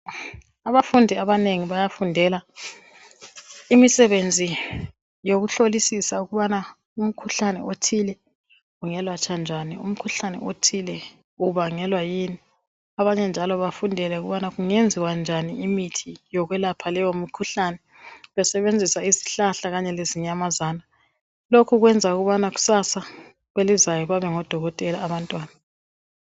Abafundi abanengi bayafundela imisebenzi yokuhlolisisa ukubana umkhuhlane othile ungelatshwa njani umkhuhlane othile ubangelwa yini abanye njalo bafundele ukubana kungenziwa njani imithi yokwelapha leyo mikhuhlane besebenzisa izihlahla kanye lezinyamazana lokhu kwenza ukubana kusasa kwelozayo babe ngodokoteka abantwana